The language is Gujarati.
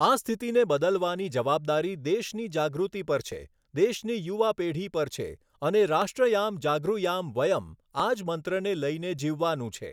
આ સ્થિતિને બદલવાની જવાબદારી દેશની જાગૃતિ પર છે, દેશની યુવા પેઢી પર છે અને રાષ્ટ્રયામ જાગૃયામ વયં, આ જ મંત્રને લઈને જીવવાનું છે.